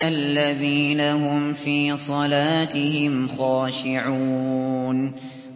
الَّذِينَ هُمْ فِي صَلَاتِهِمْ خَاشِعُونَ